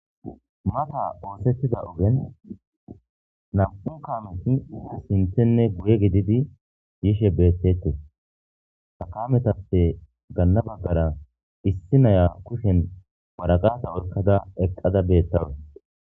mata oosettida ogen nam7u kamoti sinthenne guye gididi yishe beettete takametappe ganna baggara issi naya kushen waragasa orkada eqqada beettawe